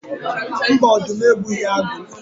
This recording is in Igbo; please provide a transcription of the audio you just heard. Mba, ọdụm egbughi agụ